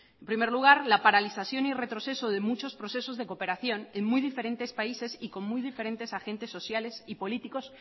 en primer lugar la paralización y retroceso de muchos procesos de cooperación en muy diferentes países y con muy diferentes agentes sociales y políticos